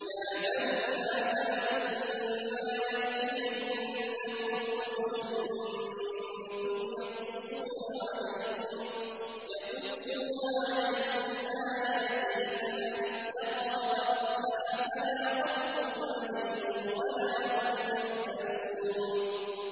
يَا بَنِي آدَمَ إِمَّا يَأْتِيَنَّكُمْ رُسُلٌ مِّنكُمْ يَقُصُّونَ عَلَيْكُمْ آيَاتِي ۙ فَمَنِ اتَّقَىٰ وَأَصْلَحَ فَلَا خَوْفٌ عَلَيْهِمْ وَلَا هُمْ يَحْزَنُونَ